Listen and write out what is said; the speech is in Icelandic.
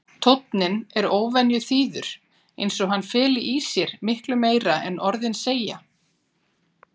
Tónninn er óvenju þýður eins og hann feli í sér miklu meira en orðin segja.